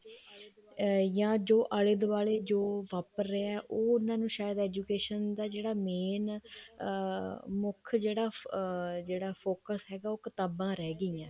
ਜਾਂ ਜੋ ਆਲੇ ਦੁਵਾਲੇ ਜੋ ਵਾਪਰ ਰਿਹਾ ਉਹ ਉਹਨਾ ਨੂੰ ਸ਼ਾਇਦ education ਦਾ ਜਿਹੜਾ main ਅਮ ਮੁੱਖ ਜਿਹੜਾ ਅਮ ਜਿਹੜਾ focus ਹੈਗਾ ਉਹ ਕਿਤਾਬਾਂ ਰਹੀ ਗਈਆਂ